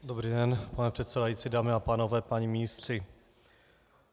Dobrý den, pane předsedající, dámy a pánové, páni ministři.